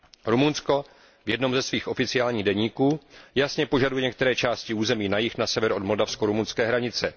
Rumunsko v jednom ze svých oficiálních deníků jasně požaduje některé části území jižně od severní moldavsko rumunské hranice.